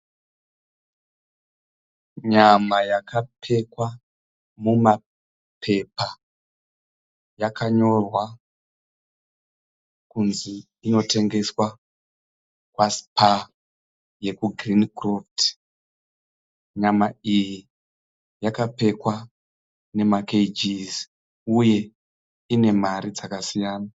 Nyama yakapekwa mumapepa yakanyorwa kunzi inotengeswa kwa"Spar" yoku"Greencroft". Nyama iyi yakapekwa nemakeyijizi uye ine mari dzakasiyana.